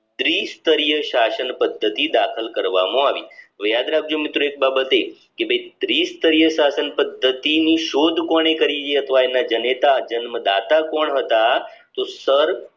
ત્રિસ્તરીય શાસન પદ્ધતિ દાખલ કરવામાં આવી તો યાદ રાખજો મિત્રો એક બાબતે કે ભાઈ ત્રિસ્તરીય શાસન પદ્ધતિ ની શોધ કોને કરી એ ના જનેતા જન્મદાતા કોણ હતા તો sir